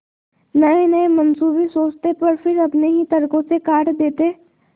नयेनये मनसूबे सोचते पर फिर अपने ही तर्को से काट देते